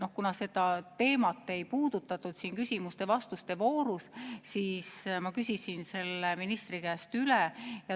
Aga kuna seda teemat ei puudutatud siin küsimuste-vastuste voorus, siis ma küsisin ministri käest üle.